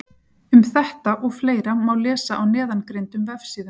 Um þetta og fleira má lesa á neðangreindum vefsíðum.